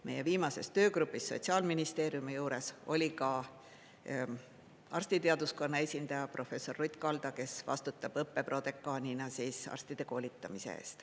Meie viimases töögrupis Sotsiaalministeeriumi juures oli ka arstiteaduskonna esindaja professor Ruth Kalda, kes vastutab õppeprodekaanina arstide koolitamise eest.